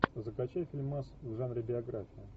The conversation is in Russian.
закачай фильмас в жанре биография